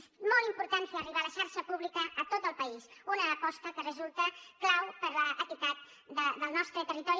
és molt important fer arribar la xarxa pública a tot el país una aposta que resulta clau per a l’equitat del nostre territori